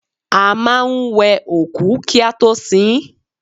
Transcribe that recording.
A máa ń wẹ òkú kí a tó sin ín